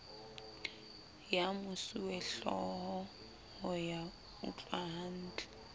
ya mosuwehlooho ho ya utlwahantle